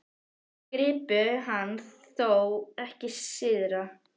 Þeir gripu hann þó ekki syðra?